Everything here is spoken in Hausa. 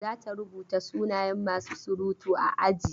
Za ta rubuta sunayen masu surutu a aji.